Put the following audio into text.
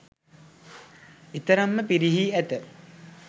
එතරම් ම පිරිහී ඇත.